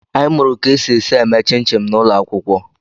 Anyị mụụrụ ka e si esi eme chịn chịn n'ụlọ akwụkwọ.